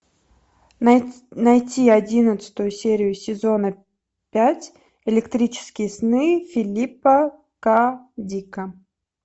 найти одиннадцатую серию сезона пять электрические сны филипа к дика